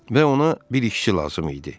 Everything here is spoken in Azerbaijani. Və ona bir işçi lazım idi.